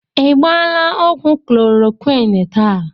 I gbaala ọgwụ Koloroqini taa?